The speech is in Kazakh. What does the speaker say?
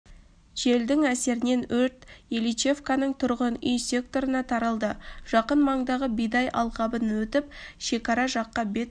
желдің әсерінен өрт ильичевканың тұрғын-үй секторына таралды жақын маңдағы бидай алқабын өтіп шекара жаққа бет